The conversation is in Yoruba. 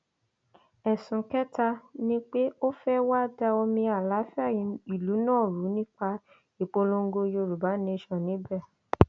ẹsùn kẹta ni pé ó fẹẹ wáá da omi àlàáfíà ìlú náà rú nípa ìpolongo yorùbá nation níbẹ